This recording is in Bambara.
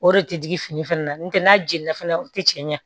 O de tɛ digi fini fana na n'o tɛ n'a jenina fana o tɛ cɛn